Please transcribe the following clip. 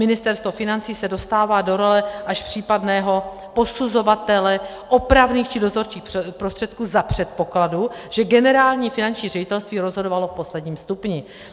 Ministerstvo financí se dostává do role až případného posuzovatele opravných či dozorčích prostředků za předpokladu, že Generální finanční ředitelství rozhodovalo v posledním stupni.